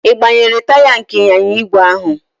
Ị gbanyere taya nke ịnyịnya ígwè ahụ?